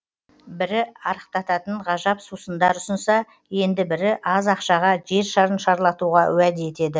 бірі арықтататын ғажап сусындар ұсынса енді бірі аз ақшаға жер шарын шарлатуға уәде етеді